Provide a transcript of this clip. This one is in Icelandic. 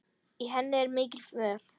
Í henni er mikill mör.